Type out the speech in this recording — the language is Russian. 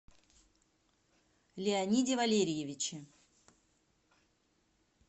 леониде валерьевиче